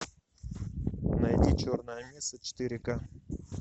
найди черная месса четыре ка